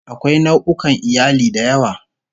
Akwai nau'ukan iyali da yawa